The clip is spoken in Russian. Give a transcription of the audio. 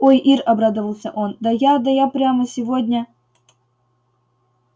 ой ир обрадовался он да я да я прямо сегодня